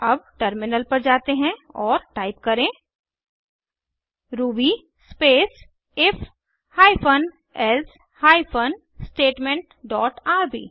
अब टर्मिनल पर जाते हैं और टाइप करें ruby space if hyphen else hyphen statement dot RB